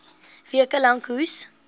weke lank hoes